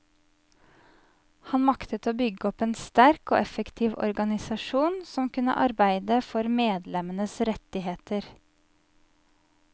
Han maktet å bygge opp en sterk og effektiv organisasjon som kunne arbeide for medlemmenes rettigheter.